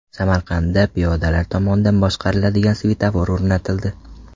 Samarqandda piyodalar tomonidan boshqariladigan svetofor o‘rnatildi.